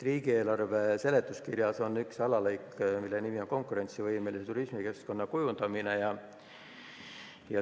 Riigieelarve seletuskirjas on üks alalõik, mille nimi on "Konkurentsivõimelise turismikeskkonna kujundamine".